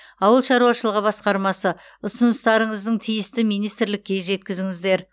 ауыл шаруашылығы басқармасы ұсыныстарыңыздың тиісті министрлікке жеткізіңіздер